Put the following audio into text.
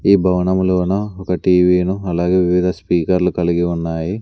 ఈ భవనములోన ఒక టీ వీ ను అలాగే వివిధ స్పీకర్లు కలిగి ఉన్నాయి.